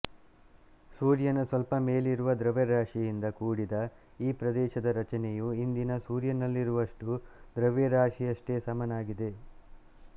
ಸೂರ್ಯನ ಸ್ವಲ್ಪ ಮೇಲಿರುವ ದ್ರವ್ಯರಾಶಿಯಿಂದ ಕೂಡಿದ ಈ ಪ್ರದೇಶದ ರಚನೆಯು ಇಂದಿನ ಸೂರ್ಯನಲ್ಲಿರುವಷ್ಟು ದ್ರವ್ಯರಾಶಿಯಷ್ಟೇ ಸಮನಾಗಿದೆ